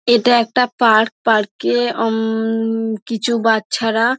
এটা একটা park park -এ উমঃ কিছু বাচ্চারা--